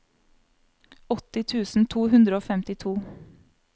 åtti tusen to hundre og femtito